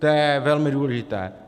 To je velmi důležité.